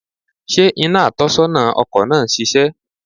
Sé iná atónisónà ọkò náà ń sisé?